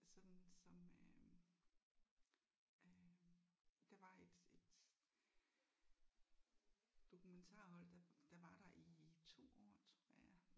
Sådan som øh øh der var et et dokumentarhold der der var der i 2 år tror jeg